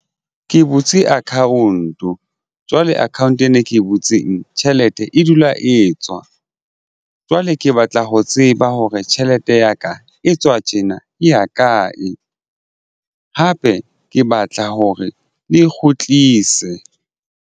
Ke butse account o jwale account ena e ke e butseng tjhelete e dula e tswa jwale ke batla ho tseba hore tjhelete ya ka e tswa tjena e ya kae. Hape ke batla hore le kgutlise.